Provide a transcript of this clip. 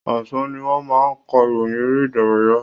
Ọ̀sán ni wọ́n máa ka ìròyìn eré ìdárayá.